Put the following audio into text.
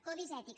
codis ètics